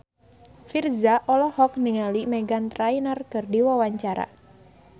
Virzha olohok ningali Meghan Trainor keur diwawancara